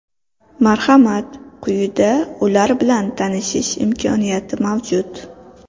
Marhamat, quyida ular bilan tanishish imkoniyati mavjud.